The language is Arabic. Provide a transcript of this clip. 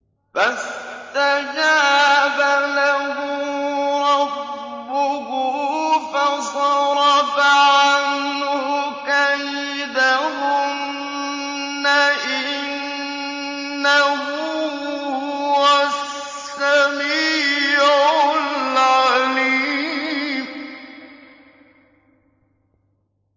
فَاسْتَجَابَ لَهُ رَبُّهُ فَصَرَفَ عَنْهُ كَيْدَهُنَّ ۚ إِنَّهُ هُوَ السَّمِيعُ الْعَلِيمُ